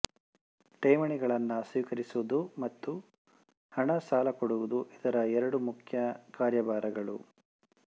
ಠೇವಣಿಗಳನ್ನು ಸ್ವೀಕರಿಸುವುದು ಮತ್ತು ಹಣ ಸಾಲಕೊಡುವುದು ಇದರ ಎರಡು ಮುಖ್ಯ ಕಾರ್ಯಭಾರಗಳು